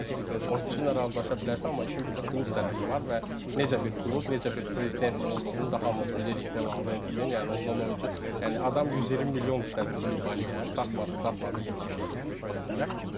Çünki oyunçuyla razılaşa bilərsən, amma işin bir də klub tərəfi var və necə bir klub, necə bir prezident olduğunu da hamımız bilirik De Laurentisin, yəni ondan oyunçu, yəni adam 120 milyon istədi Kubaliyə, satmadı, satmadı 70-75 verənlərə.